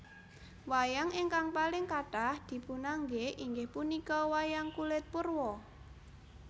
Wayang ingkang paling kathah dipunanggé inggih punika wayang kulit purwa